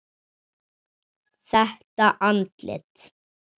Þetta andlit.